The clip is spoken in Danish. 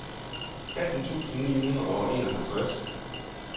atten tusind ni hundrede og enoghalvtreds